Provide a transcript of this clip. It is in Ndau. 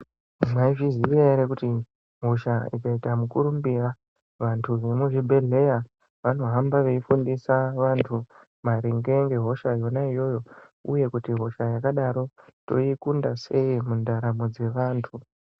Mwaizviziya ere kuti hosha ikaita mukurumbira, vantu vemuzvibhedhlera vanohamba veifundisa vantu maringe ngehosha yona iyoyo uye kuti hosha yakadaro toikunda sei mundaramo dzevantu?.